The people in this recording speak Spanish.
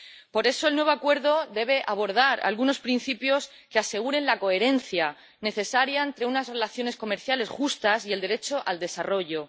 Por eso, el nuevo acuerdo debe abordar algunos principios que aseguren la coherencia necesaria entre unas relaciones comerciales justas y el derecho al desarrollo.